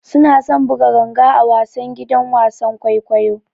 Suna son buga ganga a wasan gidan wasan kwaikwayo.